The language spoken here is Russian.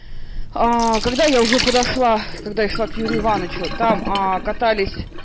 а когда я уже подошла когда я шла к юрию ивановичу а там катались